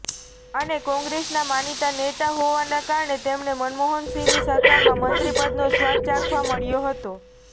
અને કોંગ્રેસના માનીતા નેતા હોવાના કારણે તેમને મનમોહનસિંહની સરકારમાં મંત્રી પદનો સ્વાદ ચાખવા મળ્યો હતો